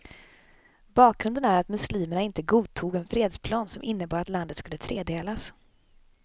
Bakgrunden är att muslimerna inte godtog en fredsplan som innebar att landet skulle tredelas.